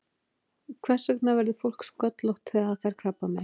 Hvers vegna verður fólk sköllótt þegar það fær krabbamein?